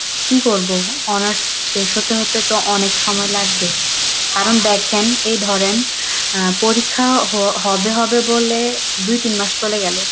কি করবো? honors শেষ হতে হতে তো অনেক সময় লাগবে কারণ দেখেন এই ধরেন আহ পরীক্ষা হ~ হবে হবে বলে দুই তিন মাস চলে গেল,